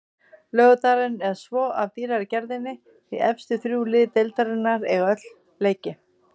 Laugardagurinn er svo af dýrari gerðinni því efstu þrjú lið deildarinnar eiga öll leiki.